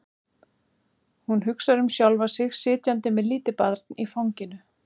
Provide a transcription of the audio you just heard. Hún hugsar um sjálfa sig sitjandi með lítið barn í fanginu.